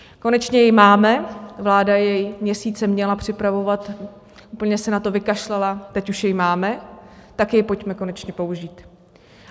Konečně jej máme - vláda jej měsíce měla připravovat, úplně se na to vykašlala, teď už jej máme, tak jej pojďme konečně použít.